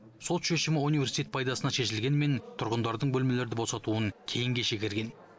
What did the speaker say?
сот шешімі университет пайдасына шешілгенімен тұрғындардың бөлмелерді босатуын кейінге шегерген